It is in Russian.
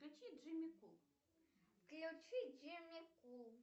включи джимми кул включи джимми кул